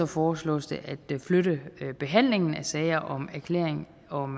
foreslås det at flytte behandlingen af sager om erklæring om